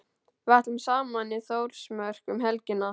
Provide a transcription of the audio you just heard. Við ætlum saman í Þórsmörk um helgina.